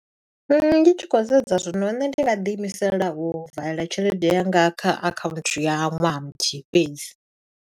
Ndi tshi khou sedza zwino, nṋe ndi nga ḓi imisela u vala tshelede yanga kha akhaunthu ya ṅwaha muthihi fhedzi.